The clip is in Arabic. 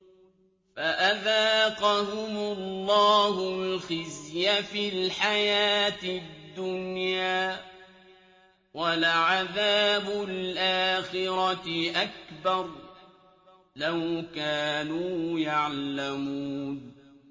فَأَذَاقَهُمُ اللَّهُ الْخِزْيَ فِي الْحَيَاةِ الدُّنْيَا ۖ وَلَعَذَابُ الْآخِرَةِ أَكْبَرُ ۚ لَوْ كَانُوا يَعْلَمُونَ